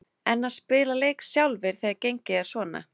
En að spila leik sjálfir þegar gengið er svona?